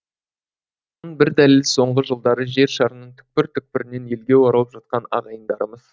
бір дәлелі соңғы жылдары жер шарының түкпір түкпірінен елге оралып жатқан ағайындарымыз